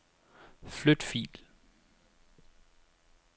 Flyt fil.